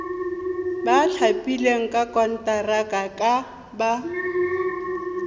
ba thapilweng ka konteraka ba